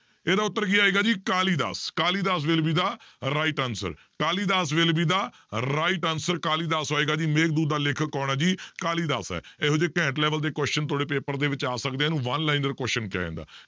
ਇਹਦਾ ਉੱਤਰ ਕੀ ਆਏਗਾ ਜੀ Kalidas, Kalidas will be the right answer Kalidas will be the right answer Kalidas ਆਏਗਾ ਜੀ ਮੇਘਦੂਤ ਦਾ ਲੇਖਕ ਕੌਣ ਹੈ ਜੀ ਕਾਲੀਦਾਸ ਹੈ, ਇਹੋ ਜਿਹੇ ਘੈਂਟ level ਦੇ question ਤੁਹਾਡੇ paper ਦੇ ਵਿੱਚ ਆ ਸਕਦੇ ਆ ਇਹਨੂੰ one liner question ਕਿਹਾ ਜਾਂਦਾ।